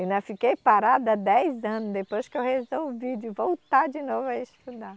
E ainda fiquei parada dez anos depois que eu resolvi de voltar de novo a estudar.